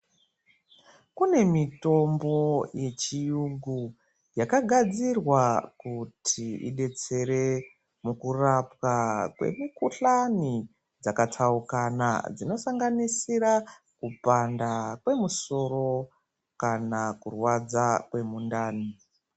Kune mitombo yechiyungu yakagadzirwa kuti idetsere mukurapwa kwemikuhlani dzakatsaukana dzinosanganisira kupanda kwemusoro kana kurwadza kwemundani.